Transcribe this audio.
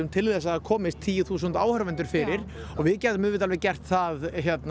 til þess að það komist tíu þúsund áhorfendur fyrir og við gætum auðvitað alveg gert það